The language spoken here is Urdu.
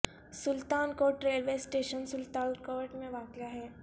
سلطان کوٹ ریلوے اسٹیشن سلطان کوٹ میں واقع ہے